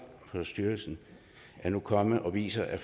for styrkelsen er nu kommet og viser at